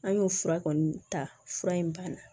An y'o fura kɔni ta fura in banna